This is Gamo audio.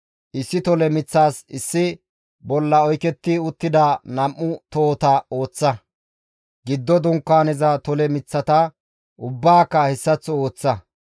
Issi tole miththas issi bolla oyketti uttida nam7u tohota ooththa. Giddo Dunkaaneza tole miththata ubbaaka hessaththo ooththa;